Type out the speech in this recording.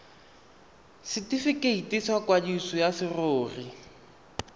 setifikeiti sa kwadiso ya serori